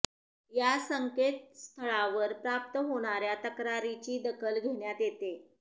या संकेतस्थळावर प्राप्त होणाऱ्या तक्रारींची दखल घेण्यात येते